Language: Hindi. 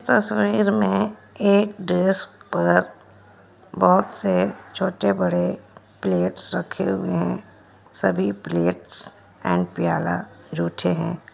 तस्वीर में एक ड्रेस पर बोहोत से छोटे बड़े प्लेट्स रखे हुए है सभी प्लेट्स एंड प्याला जो अच्छे है।